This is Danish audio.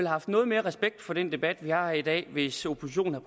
haft noget mere respekt for den debat vi har her i dag hvis oppositionen